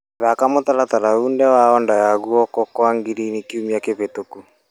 Thaka mũtaratara wothe wa Onda ya guoko kwa girini kiumia kĩhetũku .